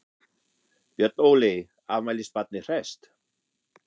Björn Óli, afmælisbarnið hresst?